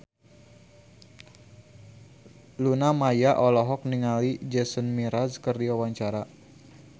Luna Maya olohok ningali Jason Mraz keur diwawancara